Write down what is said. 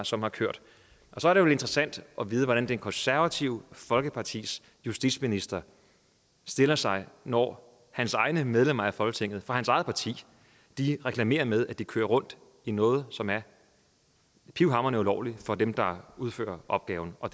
som har kørt og så er det jo interessant at vide hvordan det konservative folkepartis justitsminister stiller sig når hans egne medlemmer af folketinget og fra hans eget parti reklamerer med at de kører rundt i noget som er pivhamrende ulovligt for dem der udfører opgaven og